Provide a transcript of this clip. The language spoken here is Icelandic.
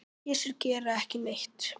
Kisur gera ekki neitt.